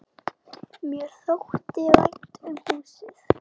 Mér þótti vænt um húsið.